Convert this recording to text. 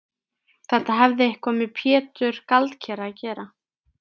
Þetta hafði eitthvað með Pétur gjaldkera að gera.